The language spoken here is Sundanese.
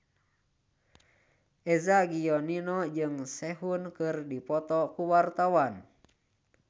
Eza Gionino jeung Sehun keur dipoto ku wartawan